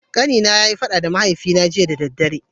Kani na ya yi fada da mahaifi na jiya da dare.